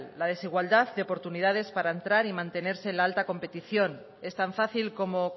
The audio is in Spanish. la desigualdad de oportunidades para entrar y mantenerse en la alta competición es tan fácil como